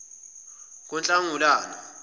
kunhlangulana